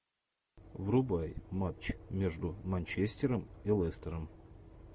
врубай матч между манчестером и лестером